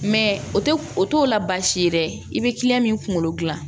Mɛ o tɛ o t'o la baasi ye dɛ i bɛ min kunkolo dilan